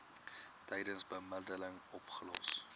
tydens bemiddeling opgelos